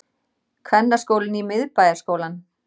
Kvennaskólinn í Miðbæjarskólann